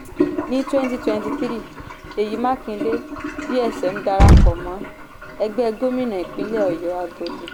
ni twenty twenty three seyi makinde gsm dára pọ̀ mọ́ ẹgbẹ́ gómìnà ìpínlẹ̀ ọ̀yọ́ agodi.